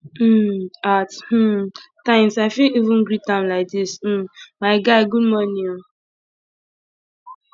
um at um times i fit even greet am like dis um my guy good morning o